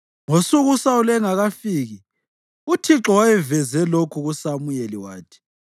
Ngosuku uSawuli engakafiki, uThixo wayeveze lokhu kuSamuyeli wathi,